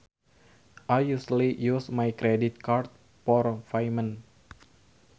I usually use my credit card for payment